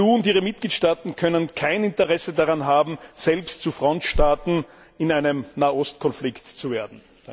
Die EU und ihre Mitgliedstaaten können kein Interesse daran haben, selbst zu Frontstaaten in einem Nahostkonflikt zu werden.